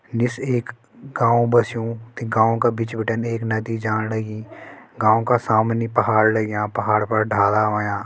निस एक गांव बस्युं ते गांव का बीच बिटिन एक नदी जाण लगीं गांव का सामने पहाड़ लग्युं पहाड़ पर डाला होयां‌।